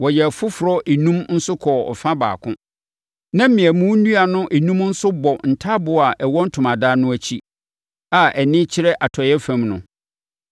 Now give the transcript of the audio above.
Wɔyɛɛ afoforɔ enum nso kɔɔ ɛfa baako. Na mmeamu nnua no enum nso bɔ ntaaboo a ɛwɔ ntomadan no akyi, a ani kyerɛ atɔeɛ fam no.